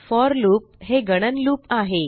four loop हे गणन loop आहे